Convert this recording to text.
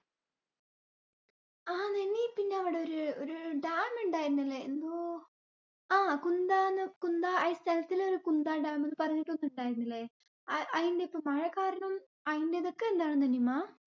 ആ നിമ്മി പിന്നെ അവിടെ ഒരു ഒരു dam ണ്ടായിരുന്നില്ലെ എന്തോ ആ കുന്ദന്കുന്ദ ആ സ്ഥലത്തിലൊരു കുന്ദ dam ന്നു പറഞ്ഞിട്ടൊന്ന് ണ്ടായിരുന്നില്ലേ? ആ അയിന്റെ ഇപ്പൊ മഴ കാരണം നിമ്മ